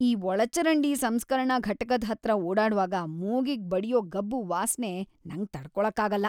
ಈ ಒಳಚರಂಡಿ ಸಂಸ್ಕರಣಾ ಘಟಕದ್‌ ಹತ್ರ ಓಡಾಡ್ವಾಗ ಮೂಗಿಗ್‌ ಬಡ್ಯೋ ಗಬ್ಬು ವಾಸ್ನೆ ನಂಗ್ ತಡ್ಕೊಳಕ್ಕಾಗಲ್ಲ.